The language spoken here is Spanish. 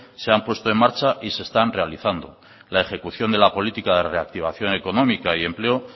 se han puesto en marcha y se están realizando la ejecución de la política de reactivación económica y empleo